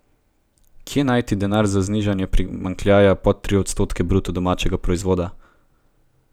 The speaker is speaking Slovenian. Kje najti denar za znižanje primanjkljaja pod tri odstotke bruto domačega proizvoda?